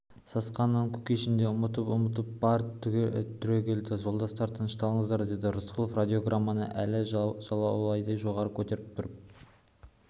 сасқанынан кушекин де ұмтылып-ұмтылып барып түрегелді жолдастар тынышталыңыздар деді рысқұлов радиограмманы әлі жалаудай жоғары көтеріп тұрып